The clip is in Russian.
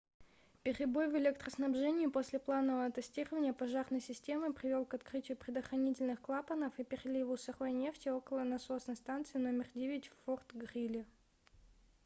перебой в электроснабжении после планового тестирования пожарной системы привел к открытию предохранительных клапанов и переливу сырой нефти около насосной станции №9 в форт-грили